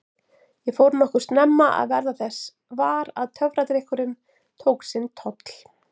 Ég fór nokkuð snemma að verða þess var að töfradrykkurinn tók sinn toll.